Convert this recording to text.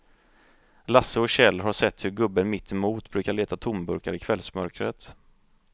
Lasse och Kjell har sett hur gubben mittemot brukar leta tomburkar i kvällsmörkret.